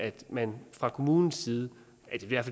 at man fra kommunens side